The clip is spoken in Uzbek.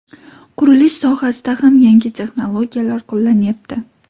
Qurilish sohasida ham yangi texnologiyalar qo‘llanyapti.